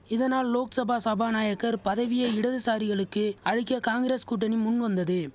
இதனால் லோக்சபா சபாநாயகர் பதவியை இடதுசாரிகளுக்கு அளிக்க காங்கிரஸ் கூட்டணி முன்வந்தது